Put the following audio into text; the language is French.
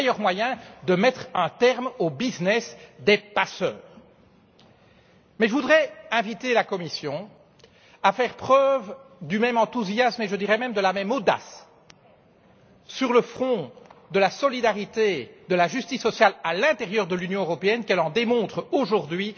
C'est le meilleur moyen de mettre un terme au business des passeurs. Mais je voudrais inviter la Commission à faire preuve d'autant d'enthousiasme voire d'audace sur le front de la solidarité et de la justice sociale à l'intérieur de l'Union européenne, que lorsqu'elle répond aujourd'hui